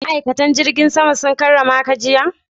Ma'aikatan jigin sama sun karramaka jiya?